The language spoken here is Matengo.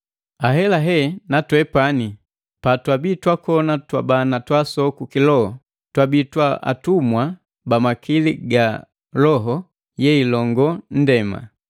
Ahelahe na twepani, patwabii twakona twabana twaasoku kiloho, twabii twa atumwa ba makili ga loho yeilongo ndema.